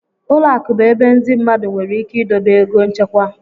Ụlọ akụ bụ ebe ndị mmadụ nwere ike idobe ego nchekwa.